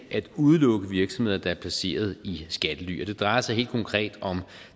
at udelukke virksomheder der er placeret i skattely og det drejer sig helt konkret om